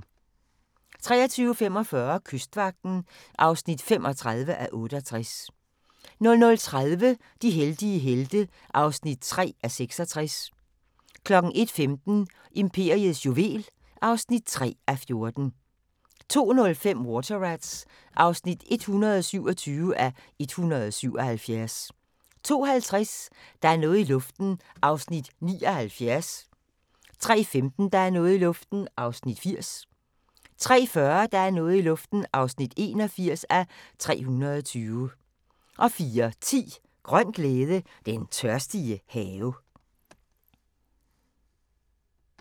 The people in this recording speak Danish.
23:45: Kystvagten (35:68) 00:30: De heldige helte (3:66) 01:15: Imperiets juvel (3:14) 02:05: Water Rats (127:177) 02:50: Der er noget i luften (79:320) 03:15: Der er noget i luften (80:320) 03:40: Der er noget i luften (81:320) 04:10: Grøn glæde – Den tørstige have